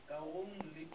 o ka re o ya